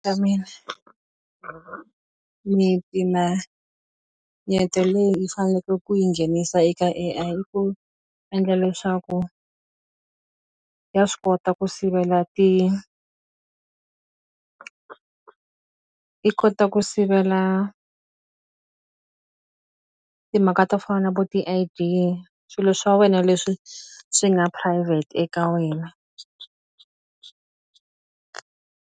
miti la leyi i faneke ku yi nghenisa eka A_I i ku endla leswaku ya swi kota ku sivela i kota ku sivela timhaka to fana na vo swilo swa wena leswi swi nga private eka wena.